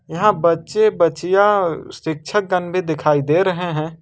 यहां बच्चे बच्चियां शिक्षक गण भी दिखाई दे रहे हैं।